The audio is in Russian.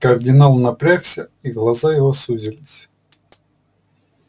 кардинал напрягся и глаза его сузились